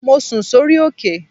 Mo sùn sórí òkè